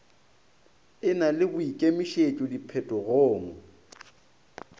e na le boikemišetšo diphetogong